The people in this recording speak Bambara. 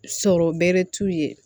Sɔrɔ bɛrɛ t'u ye